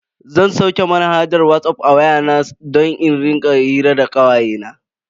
Zan sauke manhajar Whatsapp a waya na don in rika hira da kawayena.